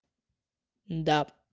да